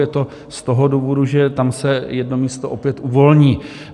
Je to z toho důvodu, že tam se jedno místo opět uvolní.